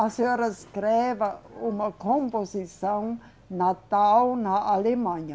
A senhora escreva uma composição natal na Alemanha.